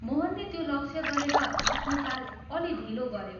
मोहनले त्यो लक्ष्य गरेर आफ्नो चाल अल्लि ढिलो गऱ्यो।